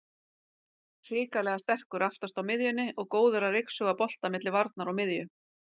Hrikalega sterkur aftast á miðjunni og góður að ryksuga bolta milli varnar og miðju.